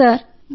అవును సార్